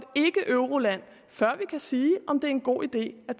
et ikkeeuroland før vi kan sige om det er en god idé at